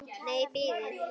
Nei, bíðið.